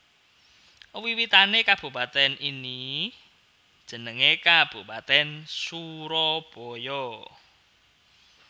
Wiwitané kabupatèn ini jenengé Kabupatèn Surabaya